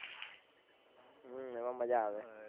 હમ એમાં મજ્જા આવે